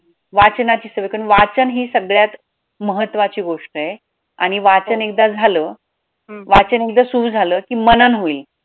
वाचनाची सवय कारण वाचन हि सगळ्यात महत्वाची गोष्ट आहे आणि वाचन एकदा झालं वाचन एकदा सुरु झालं कि मनन होईल.